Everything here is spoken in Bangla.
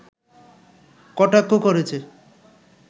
কটাক্ষ করেছে